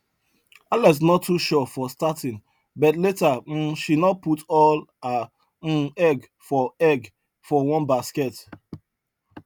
alex no too sure for starting but later um she no put all her um egg for egg for one basket